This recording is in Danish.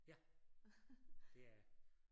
Ja det er jeg